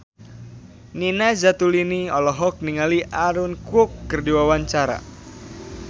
Nina Zatulini olohok ningali Aaron Kwok keur diwawancara